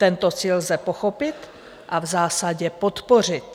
Tento cíl lze pochopit a v zásadě podpořit.